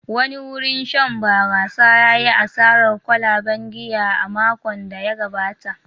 Wani wurin shan barasa ya yi asarar kwalaben giya a makon da ya gabata.